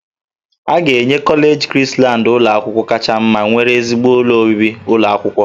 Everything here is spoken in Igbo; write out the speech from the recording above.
A ga-enye kọleji Krisland ụlọ akwụkwọ kacha mma nwere ezigbo ụlọ obibi ụlọ akwụkwọ